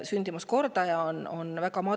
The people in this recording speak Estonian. Sündimuskordaja on väga madal.